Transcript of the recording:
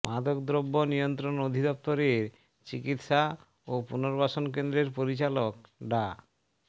মাদকদ্রব্য নিয়ন্ত্রণ অধিদফতরের চিকিৎসা ও পুনর্বাসন কেন্দ্রের পরিচালক ডা